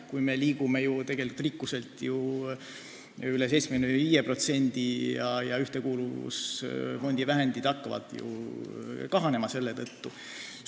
Meie rikkus liigub ju tasemele, mis on üle 75% Euroopa Liidu keskmisest, ja Ühtekuuluvusfondi vahendid hakkavad selle tõttu kahanema.